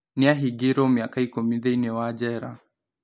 Nĩ ahingĩirwo mĩaka ikumi thĩini wa njera